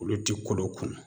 Olu ti kolo kunu